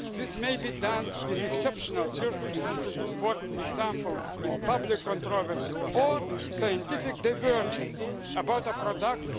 purposes. This may be done in exceptional circumstances, for example in the event of public controversy or scientific divergence about a